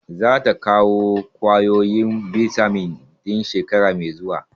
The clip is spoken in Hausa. Za ta kawo ƙwayoyin bitamin ɗin shekara mai zuwa.